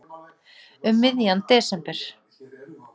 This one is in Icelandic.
Um miðjan desember.